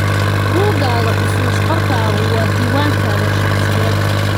Buuggaaga xusuus qorkaagu waa diiwaankaaga shaqsiyeed.